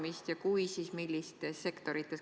Kui te seda plaanite, siis millistes sektorites?